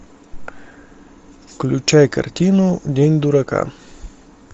включай картину день дурака